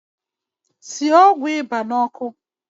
Sie ọgwụ ịba n’ọkụ